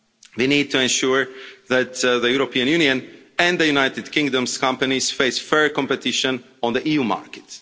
We need to ensure that the European Union and the United Kingdom's companies face fair competition on the EU market.